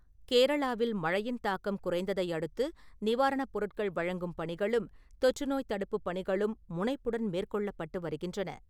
கேரளாவில், மழையின் தாக்கம் குறைந்ததை அடுத்து, நிவாரண பொருட்கள் வழங்கும் பணிகளும், தொற்றுநோய் தடுப்பு பணிகளும் முனைப்புடன் மேற்கொள்ளப்பட்டு வருகின்றன.